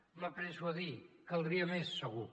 m’apresso a dir caldria més segur